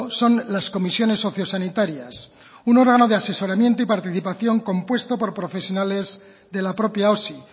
son las comisiones socio sanitarias un órgano de asesoramiento y participación compuesto por profesionales de la propia osi